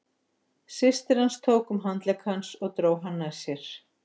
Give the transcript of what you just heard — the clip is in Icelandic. Systir hans tók um handlegg hans og dró hann nær sér.